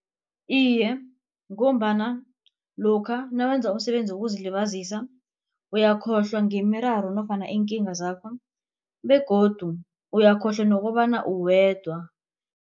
Iye, ngombana lokha nawenza umsebenzi wokuzilibazisa uyakhohlwa ngemiraro nofana iinkinga zakho begodu uyakhohlwa nokobana uwedwa.